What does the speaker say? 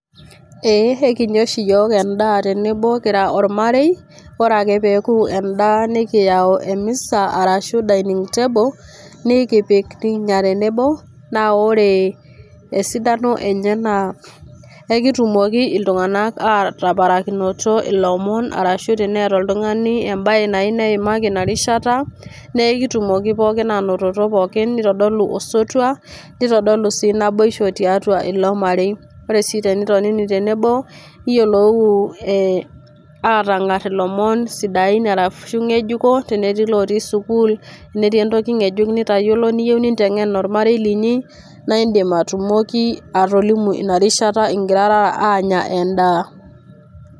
Eeh, ekinya oshi yiok endaa tenebo